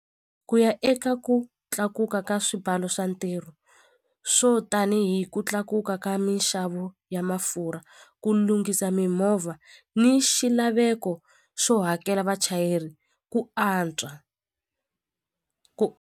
Ku ya eka ku tlakuka ka swibalo swa ntirho swo tanihi ku tlakuka ka minxavo ya mafurha ku lunghisa mimovha ni xilaveko xo hakela vachayeri ku antswa .